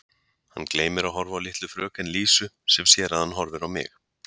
Hann gleymir að horfa á litlu fröken Lísu sem sér að hann horfir á mig.